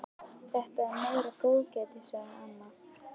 Þetta er meira góðgætið, sagði amma.